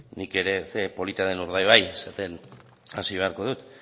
nik ere ze polita den urdaibai esaten hasi beharko dut